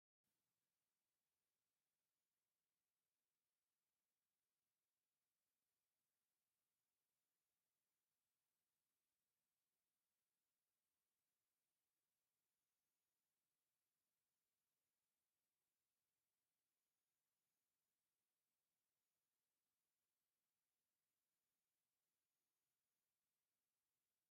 ካብ ብጣዕሚ ዝህረፍ ባህላውን ተፈጥሮኣውን ዓይነታት ዝስተዩ ነገራት ፀባ እዩ፡፡ እታ ሰበይቲ ናብ ሽክና ነታ ላሕሚ እንዳሓለበታ እታ ብተይ ድማ ተታሒዛ ኣላ፡፡ እውይ እቲ ዝዓበኹሉ ዓደይ ተራእዩኒ፡፡